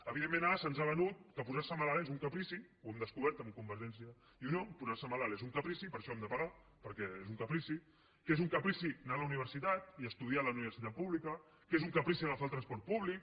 evidentment ara se’ns ha venut que posar se malalt és un caprici ho hem descobert amb convergència i unió posar se malalt és un caprici per això hem de pagar perquè és un caprici que és un caprici anar a la universitat i estudiar a la universitat pública que és un caprici agafar el transport públic